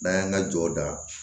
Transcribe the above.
N'an y'an ka jɔ da